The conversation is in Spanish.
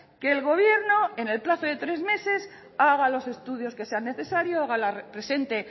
que el gobierno en el plazo de tres meses haga los estudios que sean necesarios la presente